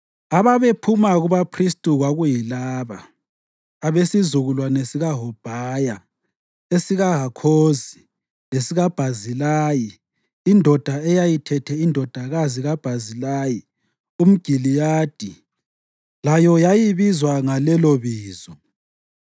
Ababephuma kubaphristi kwakuyilaba: Abesizukulwane sikaHobhaya, esikaHakhozi lesikaBhazilayi (indoda eyayithethe indodakazi kaBhazilayi umGiliyadi layo yayibizwa ngalelobizo).